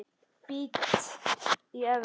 Bít í efri vörina.